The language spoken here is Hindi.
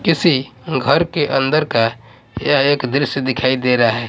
किसी घर के अंदर का यह एक दृश्य दिखाई दे रहा है।